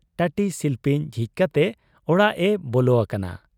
ᱴᱟᱹᱴᱤ ᱥᱤᱞᱯᱤᱧ ᱡᱷᱤᱡ ᱠᱟᱛᱮ ᱚᱲᱟᱜ ᱮ ᱵᱚᱞᱚ ᱟᱠᱟᱱᱟ ᱾